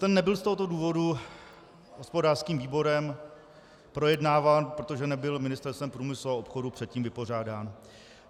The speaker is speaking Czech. Ten nebyl z tohoto důvodu hospodářským výborem projednáván, protože nebyl Ministerstvem průmyslu a obchodu předtím vypořádán.